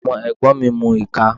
Ọmọ ẹ̀gbọ́n mi ń mu ìka.